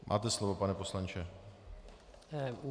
Máte slovo, pane poslanče.